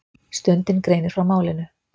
Stundin greinir frá málinu.